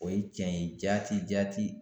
O ye cɛn ye jaati jaati